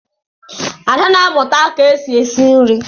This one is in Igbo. Ada na amụta ka-esi esi nri.